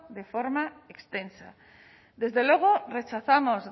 de forma extensa desde luego rechazamos